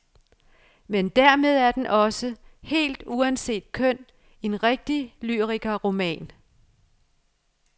Men dermed er den også, helt uanset køn, en rigtig lyrikerroman.